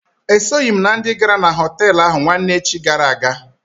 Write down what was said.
E soghi m na ndị gara na họtelụ ahụ nwanne echi gara aga.